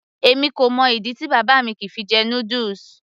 èmi kò mọ ìdí tí bàbá mi kìí fi jẹ noodles